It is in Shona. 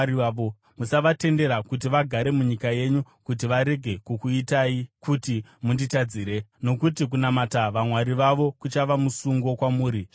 Musavatendera kuti vagare munyika yenyu kuti varege kukuitai kuti munditadzire, nokuti kunamata vamwari vavo kuchava musungo kwamuri zvirokwazvo.”